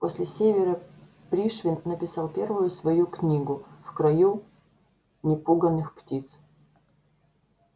после севера пришвин написал первую свою книгу в краю непуганых птиц